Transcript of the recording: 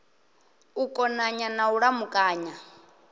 u konanya na u lamukanya